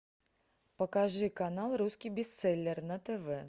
покажи канал русский бестселлер на тв